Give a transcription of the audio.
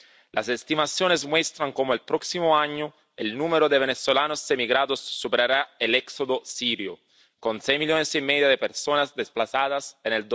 Las estimaciones muestran cómo el próximo año el número de venezolanos emigrados superará el éxodo sirio, con seis millones y medio de personas desplazadas en